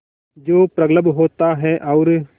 जो प्रगल्भ होता है और